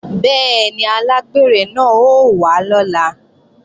Bẹ́ẹ̀ni, alágbèrè náà ó wá lọ́la